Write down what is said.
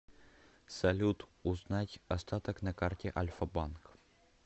салют узнать остаток на карте альфа банк